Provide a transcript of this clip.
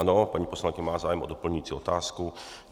Ano, paní poslankyně má zájem o doplňující otázku.